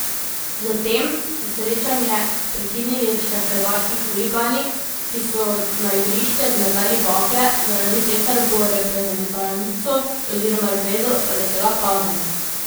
Zatem so srečanje prekinili še hrvaški huligani, ki so na igrišče zmetali bakle, zaradi česar bo reprezentanco oziroma zvezo doletela kazen.